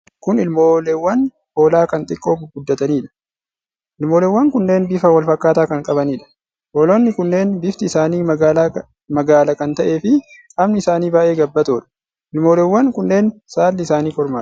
Kun ilmooleewwan hoolaa kan xiqqoo gurguddataniidha. Ilmooleewwan kunneen bifa wal fakkaataa kan qabaniidha. Hoolonni kunneen bifti isaanii magaala kan ta'ee fi qaamni isaanii baay'ee gabbatoodha. Ilmooleewwan kunneen saalli isaanii kormaadha.